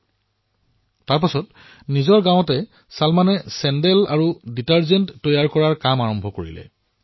তাৰ পিছত কি হল চলমানে নিজৰ গাঁৱত চেণ্ডেল আৰু ডিটাৰজেণ্ট বনোৱাৰ কাম আৰম্ভ কৰিলে